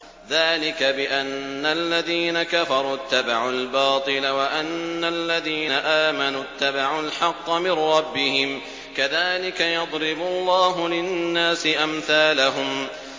ذَٰلِكَ بِأَنَّ الَّذِينَ كَفَرُوا اتَّبَعُوا الْبَاطِلَ وَأَنَّ الَّذِينَ آمَنُوا اتَّبَعُوا الْحَقَّ مِن رَّبِّهِمْ ۚ كَذَٰلِكَ يَضْرِبُ اللَّهُ لِلنَّاسِ أَمْثَالَهُمْ